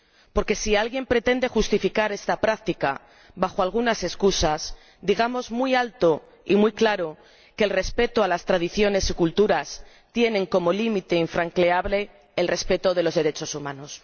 Porque si alguien pretende justificar esta práctica bajo algunas excusas, digamos muy alto y muy claro que el respeto a las tradiciones y culturas tiene como límite infranqueable el respeto de los derechos humanos.